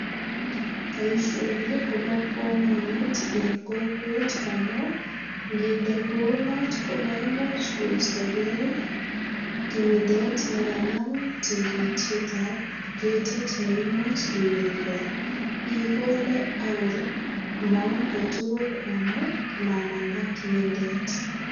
Boisioni kobo kamanut en kokwet amu nginde kounot ko maimuch koistogei kimindet ne kanam tikitietab ketit ne imuch iwe igol. Igole ak komong kotugul amu mamanda kimindet.